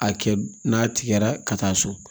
A kɛ n'a tigɛra ka taa so